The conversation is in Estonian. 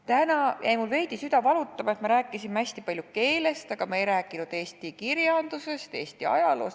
Täna jäi mul süda veidi valutama, et me rääkisime hästi palju keelest, aga me ei rääkinud eesti kirjandusest, ajaloost.